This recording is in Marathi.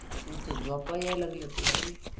तू त झोपाया लागल तुला रे